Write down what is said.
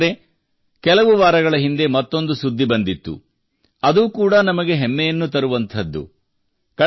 ಸ್ನೇಹಿತರೇ ಕೆಲವು ವಾರಗಳ ಹಿಂದೆ ಮತ್ತೊಂದು ಸುದ್ದಿ ಬಂದಿತ್ತು ಅದು ಕೂಡ ನಮಗೆ ಹೆಮ್ಮೆಯನ್ನು ತುಂಬುವಂಥದ್ದು